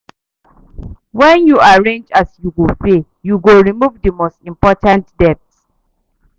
Wen yu arrange as you go pay, yu go remove the most important debt